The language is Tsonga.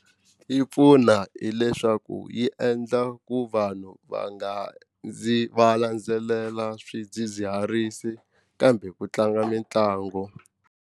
Yi pfuna hileswaku yi endla ku vanhu va nga ndzi va landzelela swidzidziharisi kambe ku tlanga mitlangu.